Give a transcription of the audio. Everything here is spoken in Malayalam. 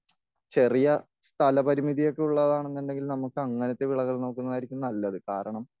ചെറിയ സ്ഥല പരിമിതിയൊക്കെ ഉള്ളതാന്നുണ്ടെങ്കിൽ നമുക്ക് അങ്ങനത്തെ വിളകൾ നോക്കുന്നതായിരിക്കും നല്ലത്.കാരണം